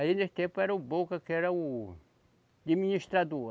Aí nesse tempo era o Boca, que era o. Administrador.